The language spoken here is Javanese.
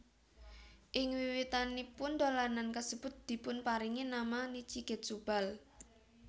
Ing wiwitanipun dolanan kasebut dipunparingi nama Nichi Getsu Ball